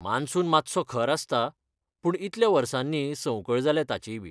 Monsoon मातसो खर आसता पूण इतल्या वर्सांनी संवकळ जाल्या ताचीयबी.